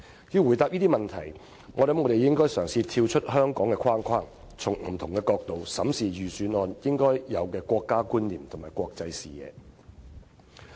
要回答這個問題，我想我們應嘗試跳出香港的框框，從不同的角度審視預算案應有的國家觀念和國際視野。